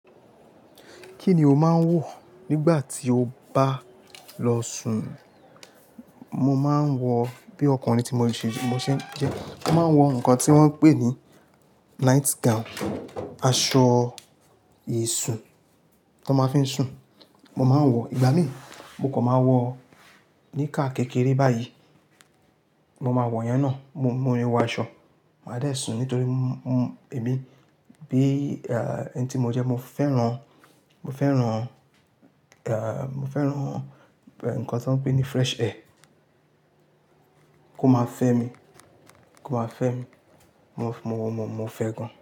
Kí ni o máa ń wọ̀ nígbà tí o bá lọ sùn? Mo máa ń wọ, bí ọkùnrin tí mo ṣe jẹ, mo máa ń wọ nǹkan tí wọ́n ń pè ní night gown, aṣọ ìsùn tan máa ń fi sùn. Mo máa ń wọ, ìgbà mí ì mo kàn máa wọ̀ níká kékeré báyìí, mo máa wọ̀ ìyẹn náà. Mo, mio kin wọn aṣọ, màá dẹ̀ sùn nítorí mo, mo, èmi bí, ẹ́, ẹni tí mo jẹ́ mo fẹ́ràn, mo fẹ́ràn, ẹ́, mo fẹ́ràn, ẹ́, nǹkan tí wọ́n ń pè ní fresh air kó máa fẹ́ mi, kó máa fẹ́ mi. Mo, mo, mo fẹ́ gan.